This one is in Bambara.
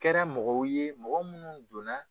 Kɛra mɔgɔw ye mɔgɔ minnu donna